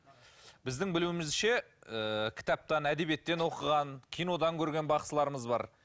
біздің білуімізше ыыы кітаптан әдебиеттен оқыған кинодан көрген бақсыларымыз бар